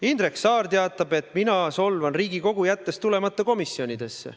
Indrek Saar teatab, et mina solvan Riigikogu, jättes tulemata komisjonidesse.